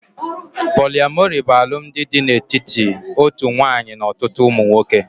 Poliamori bụ alụmdi dị n'etiti otu nwanyị n'ọtụtụ ụmụ nwoke